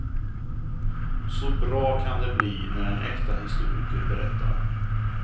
Så bra kan det bli när en äkta historiker berättar.